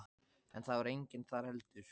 En það var enginn þar heldur.